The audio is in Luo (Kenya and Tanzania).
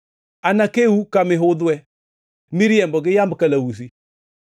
“Anakeu ka mihudhwe miriembo gi yamb kalausi.